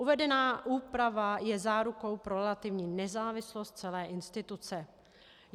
Uvedená úprava je zárukou pro relativní nezávislost celé instituce.